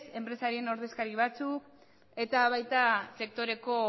enpresarien ordezkari batzuek eta baita sektoreko